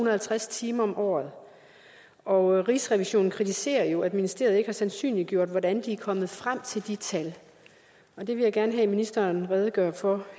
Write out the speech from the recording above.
og halvtreds timer om året året rigsrevisionen kritiserer jo at ministeriet ikke har sandsynliggjort hvordan de er kommet frem til de tal og det vil jeg gerne have at ministeren redegør for